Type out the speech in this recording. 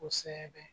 Kosɛbɛ